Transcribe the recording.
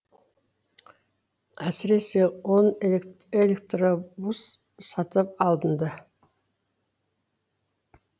әсіресе он электробус сатып алынды